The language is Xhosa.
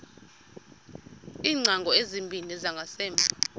iingcango ezimbini zangasemva